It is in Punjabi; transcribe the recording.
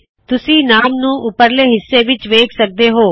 ਤੁਸੀ ਨਾਮ ਨੂੰ ਉਪਰਲੇ ਹਿੱਸੇ ਵਿੱਚ ਵੇਖ ਸਕਦੇ ਹੋਂ